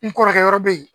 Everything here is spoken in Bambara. N kɔrɔkɛ yɔrɔ be yen